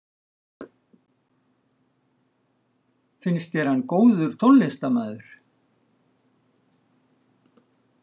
Finnst þér hann góður tónlistarmaður?